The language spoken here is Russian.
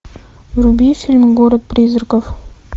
вруби фильм город призраков